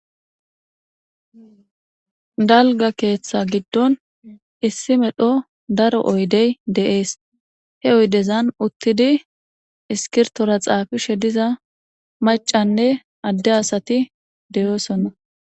Dalga keeththa giddon issi medho daro oydey de7ees he oydezan uttidi iskirtora xaafishe diza macanne adde asati deyoosonna.